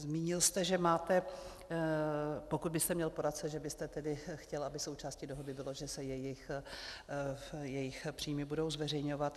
Zmínil jste, že máte, pokud byste měl poradce, že byste tedy chtěl, aby součástí dohody bylo, že se jejich příjmy budou zveřejňovat.